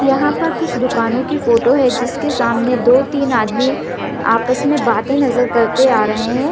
यहाँ पर कुछ दूकानो की फोटो है जिसके सामने दो तीन आदमी आपस मे बातें करतें नज़र करते आ रहे है।